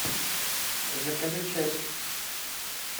закажи чаппи